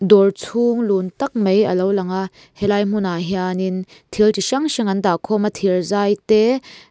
dawr chhung lun tak mai alo lang a helai hmunah hianin thil chi hrang hrang an dahkhawm a thirzai te.